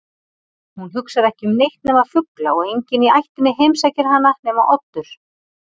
Hún hugsar ekki um neitt nema fugla og enginn í ættinni heimsækir hana nema Oddur.